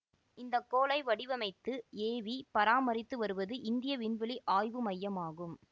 இந்த கோளை வடிவமைத்து ஏவி பராமரித்து வருவது இந்திய விண்வெளி ஆய்வு மையம் ஆகும்